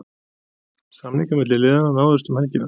Samningar milli liðana náðust um helgina.